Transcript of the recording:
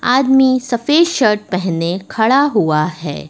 आदमी सफेद शर्ट पहने खड़ा हुआ है।